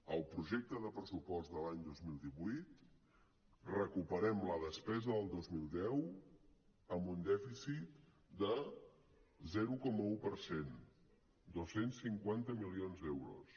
al projecte de pressupost de l’any dos mil divuit recuperem la despesa del dos mil deu amb un dèficit de zero coma un per cent dos cents i cinquanta milions d’euros